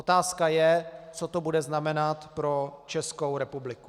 Otázka je, co to bude znamenat pro Českou republiku.